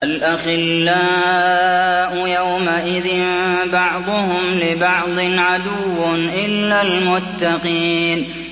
الْأَخِلَّاءُ يَوْمَئِذٍ بَعْضُهُمْ لِبَعْضٍ عَدُوٌّ إِلَّا الْمُتَّقِينَ